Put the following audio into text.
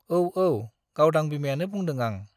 औ, औ, गावदां बिमायानो बुंदों आं।